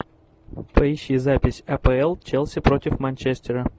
поищи запись апл челси против манчестера